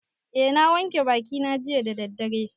Eh, na wanke bakina jiya da daddare